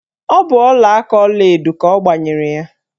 Ọ bụ ọlaaka ọlaedo ka ọ gbanyere ya.